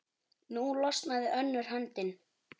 Nú losnaði önnur höndin.